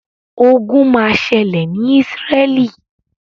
Ogun máa ṣẹlẹ̀ ni Isreal.